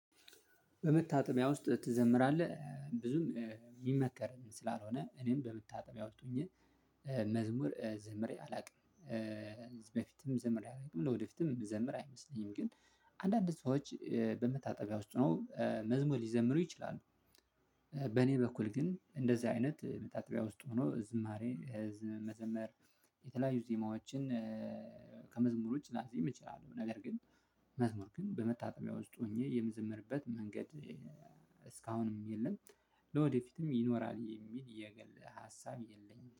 በመታጠቢያ ውስጥ ትዘምራለህ ብዙም እምመከርም ስላልሆነ እኔም በመታጠቢያ ውስት ሁኜ መዝሙር ዝምሬ አላውቅም። በፊትም ዘምሬ አላውቅም ለወደፊትም እምዘምር አይመስለኝም። ግን አንዳንድ ሰዎች በመታጠቢያ ውስጥ ሁነው መዝሙር ሊዘምሩ ይችላሉ። በኔ በኩል ግን እንደዛ አይነት መታጠቢያ ውስጥ ሁኖ ዝማሬ መዘመር የተለያዩ ዜማዎችን ከመዝሙር ውጭ ላዜም እችላለሁ። ነገር ግን መዝሙር ግን በመታጠቢያ ውስጥ ሆኜ የምዘምርበት መንገድ እስካሁንም የለም። ለወደፊትም ይኖራል የሚል የግል ሀሳብ የለኝም